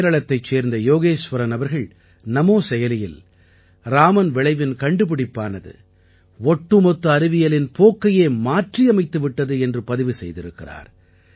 கேரளத்தைச் சேர்ந்த யோகேஸ்வரன் அவர்கள் நமோ செயலியில் ராமன் விளைவின் கண்டுபிடிப்பானது ஒட்டுமொத்த அறிவியலின் போக்கையே மாற்றியமைத்து விட்டது என்று பதிவு செய்திருக்கிறார்